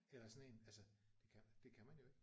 Eller sådan en altså det kan man det kan man jo ikke